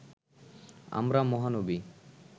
আমরা মহানবী